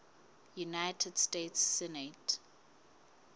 united states senate